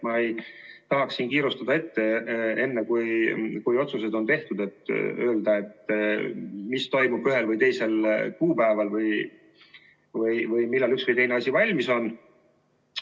Ma ei tahaks siin ette kiirustada ja öelda enne, kui otsused on tehtud, mis toimub ühel või teisel kuupäeval või millal üks või teine asi valmis on.